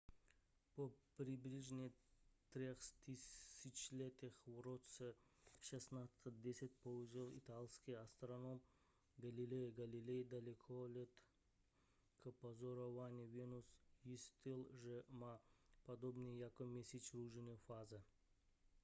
po přibližně třech tisíciletích v roce 1610 použil italský astronom galileo galilei dalekohled k pozorování venuše zjistil že má podobně jako měsíc různé fáze